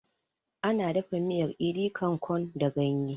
Ana dafa miyar idi kan kon da ganye